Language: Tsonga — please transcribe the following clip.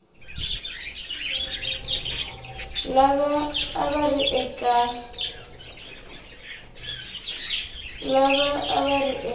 lava a va ri eka